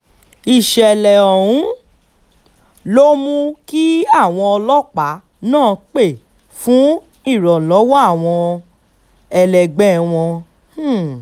ìṣẹ̀lẹ̀ ọ̀hún um ló mú kí àwọn ọlọ́pàá náà pẹ́ fún ìrànlọ́wọ́ àwọn ẹlẹgbẹ́ wọn um